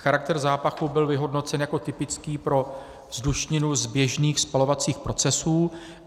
Charakter zápachu byl vyhodnocen jako typický pro vzdušninu z běžných spalovacích procesů.